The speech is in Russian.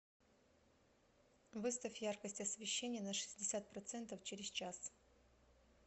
выставь яркость освещения на шестьдесят процентов через час